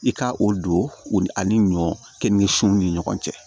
I ka o don o ani ɲɔ keninge sunw ni ɲɔgɔn cɛ